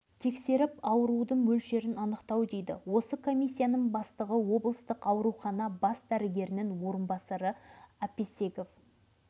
бірақ комиссия дегеніміз павлодар облыстық ауруханасынан келген дәрігерлер болып шықты біздің негізгі мақсатымыз жергілікті тұрғындардың денсаулығын